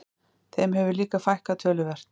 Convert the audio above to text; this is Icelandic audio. Þeim hefur líka fækkað töluvert